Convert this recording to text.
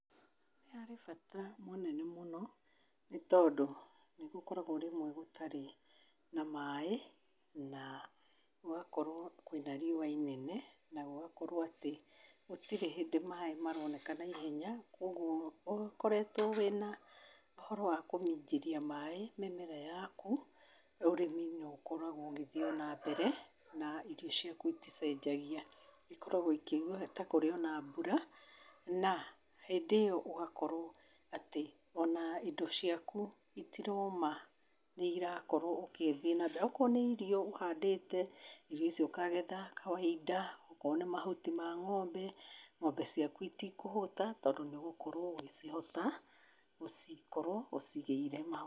Nĩ harĩ bata mũnene mũno nĩ tondũ nĩ gũkoragwo rĩmwe gũtari na maaĩ na gũgakorwo kwĩna riũa inene na gũgakorwo atĩ gũtirĩ hĩndĩ maaĩ maroneka naihenya. Kwoguo, ũkoretwo wĩna ũhoro wa kũminjĩria maaĩ mĩmera yaku, ũrĩmi nĩ ũkoragwo ũgĩthiĩ nambere na irio ciaku iticenjagia. Ikoragwo ikĩnyua ta kũrĩo na mbura, na hĩndĩ ĩyo ũgakorwo atĩ o na indo ciaku itiraũma, nĩ irakorwo ũkĩthiĩ nambere. Okorwo nĩ irio ũhandĩte, irio icio ũkagetha kawainda, okorwo nĩ mahuti ma ng'ombe, ng'ombe ciaku itikũhũta tondũ nĩ ũgũkorwo ũgĩcihota, gũcikorwo ũciigĩire mahuti.